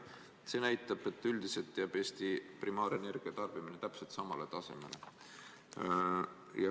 See näitab, et üldiselt jääb Eesti primaarenergia tarbimine täpselt samale tasemele.